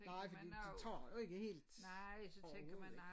Nej fordi de tager jo ikke helt overhovedet ikke